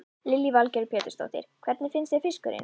Lillý Valgerður Pétursdóttir: Hvernig finnst þér fiskurinn?